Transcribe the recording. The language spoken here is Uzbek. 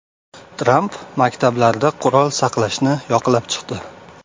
Tramp maktablarda qurol saqlashni yoqlab chiqdi.